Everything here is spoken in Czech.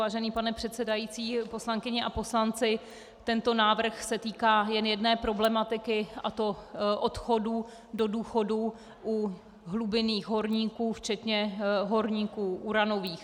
Vážený pane předsedající, poslankyně a poslanci, tento návrh se týká jen jedné problematiky, a to odchodů do důchodu u hlubinných horníků, včetně horníků uranových.